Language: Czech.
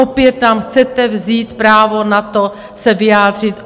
Opět nám chcete vzít právo na to se vyjádřit.